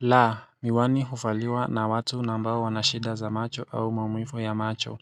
La, miwani huvaliwa na watu nambao wanashida za macho au mamuivu ya macho.